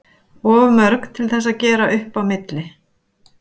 Of mörg til þess að gera upp á milli.